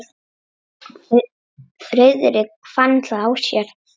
Friðrik fann það á sér.